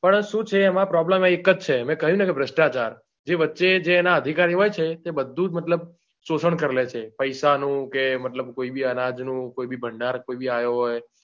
પણ શું છે એમાં problem એક જ છે મેં કહ્યું ને કે ભ્રષ્ટાચાર જે વચ્ચે જે એના અધિકારી એવા છે તે બધું જ મતલબ શોષણ કરી લે છે પૈસાનું કે મતલબ કોઈ ની અનાજનું કોઈ ભી ભાંડર આયો હોય.